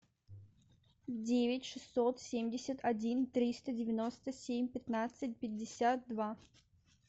девять шестьсот семьдесят один триста девяносто семь пятнадцать пятьдесят два